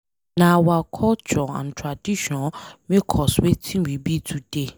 Nah our culture and tradition make us Wetin we be today.